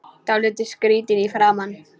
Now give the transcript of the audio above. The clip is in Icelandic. Dálítið skrýtin í framan.